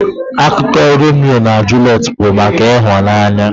Akụkọ Romio na Juliet bụ maka ịhụnanya.